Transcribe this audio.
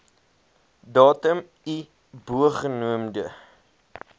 datum i bogenoemde